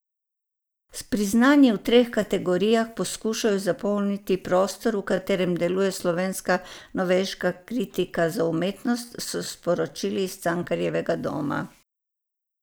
S priznanji v treh kategorijah poskušajo zapolniti prostor, v katerem deluje slovenska novejša kritika za umetnost, so sporočili iz Cankarjevega doma.